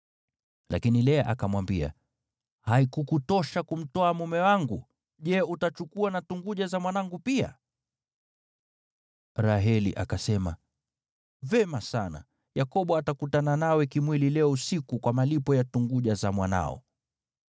Lakini Lea akamwambia, “Haikukutosha kumtwaa mume wangu? Je, utachukua na tunguja za mwanangu pia?” Raheli akasema, “Vema sana! Yakobo atakutana nawe kimwili leo usiku, kwa malipo ya tunguja za mwanao.”